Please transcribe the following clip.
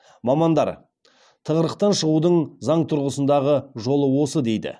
мамандар тығырықтан шығудың заң тұрғысындағы жол осы дейді